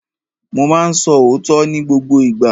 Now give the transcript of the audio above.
Mo ma ń sọ òótọ́ ní gbogbo ìgbà.